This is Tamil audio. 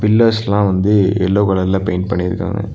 பில்லர்ஸ்லா வந்து எல்லோ கலர்ல பெயிண்ட் பண்ணிருக்காங்க.